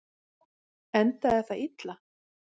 Endaði það illa?